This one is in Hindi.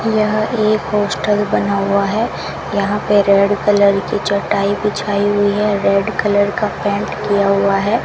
यह एक पोस्टर बना हुआ है यहां पे रेड कलर की चटाई बिछाई हुई है रेड कलर का पेंट किया हुआ है।